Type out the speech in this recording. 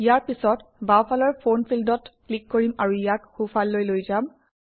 ইয়াৰ পিছত বাওঁফালৰ ফোন ফিল্ডত ক্লিক কৰিম আৰু ইয়াক সোঁফাললৈ লৈ যাম